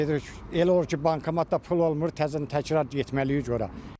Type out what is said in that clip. Gedirik, elə olur ki, bankomatda pul olmur, təzədən təkrar getməliyik ora.